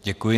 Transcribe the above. Děkuji.